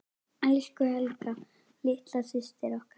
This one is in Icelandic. Elsku Helga litla systir okkar.